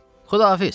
Xudahafiz.